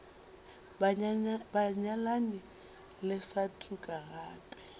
banyalani le sa tuka gape